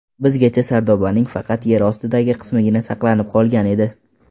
Bizgacha sardobaning faqat yer ostidagi qismigina saqlanib qolgan edi.